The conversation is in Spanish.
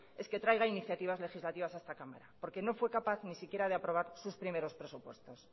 es que traiga iniciativas legislativas a esta cámara porque no fue capaz ni siquiera de aprobar sus primeros presupuestos